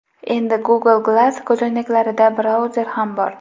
Endi Google Glass ko‘zoynaklarida brauzer ham bor.